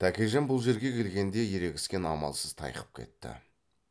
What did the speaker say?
тәкежан бұл жерге келгенде ерегістен амалсыз тайқып кетті